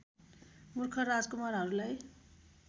मूर्ख राजकुमारहरूलाई